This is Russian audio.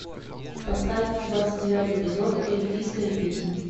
поставь двадцать девятый эпизод эльфийская песнь